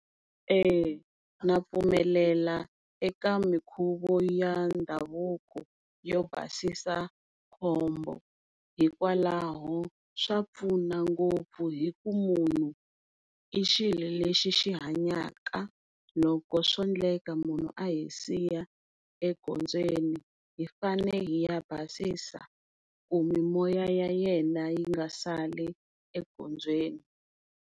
Na pfumelela eka minkhuvo ya ndhavuko yo basa khombo hikwalaho swa pfuna ngopfu hi ku munhu i xilo lexi xi hanyaka loko swo endleka munhu abhi siya egondzweni hi fane hi ya basisa ku mimoya ya yena yi nga sali egondzweni.